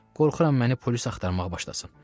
Qorxuram məni polis axtarmağa başlasın.